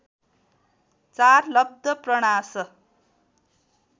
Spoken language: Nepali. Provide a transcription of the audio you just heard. ४ लब्धप्रणाश